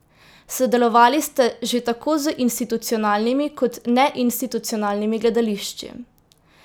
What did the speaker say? Sodelovali ste že tako z institucionalnimi kot neinstitucionalnimi gledališči.